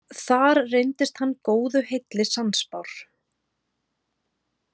Þar reyndist hann góðu heilli sannspár.